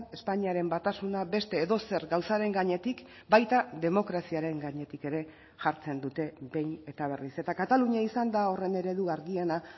espainiaren batasuna beste edozer gauzaren gainetik baita demokraziaren gainetik ere jartzen dute behin eta berriz eta katalunia izan da horren eredu argiena